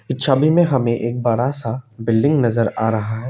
छवि में हमें एक बड़ा सा बिल्डिंग नजर आ रहा है।